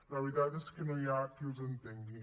la veritat és que no hi ha qui els entengui